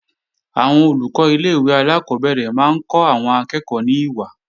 Àwọn Olùkọ́ ilé-ìwé alákọ́bẹ̀rẹ̀ máa ń kọ́ àwọn akẹ́ẹ̀kọ́ ní ìwà